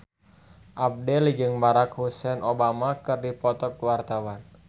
Abdel jeung Barack Hussein Obama keur dipoto ku wartawan